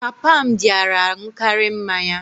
Papa m dịara aṅụkarị mmanya